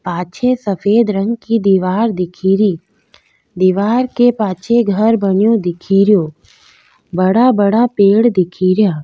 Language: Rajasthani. पाछे सफ़ेद रंग की दिवार दिखेरी दिवार के पाछे घर बनियो दिखेरो बड़ा बड़ा पेड़ दिखेरो।